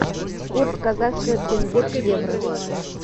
курс казахского тенге к евро